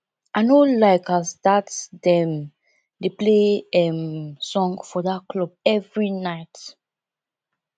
i no like as dat dem dey play um song for dat club every night